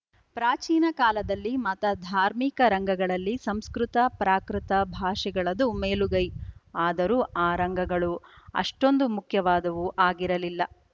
ಪ್ರಾಚೀನ ಕಾಲದಲ್ಲಿ ಮತ ಧಾರ್ಮಿಕ ರಂಗಗಳಲ್ಲಿ ಸಂಸ್ಕೃತ ಪ್ರಾಕೃತ ಭಾಷೆಗಳದು ಮೇಲುಗೈ ಆದರೂ ಆ ರಂಗಗಳು ಅಷ್ಟೋಂದು ಮುಖ್ಯವಾದವು ಆಗಿರಲಿಲ್ಲ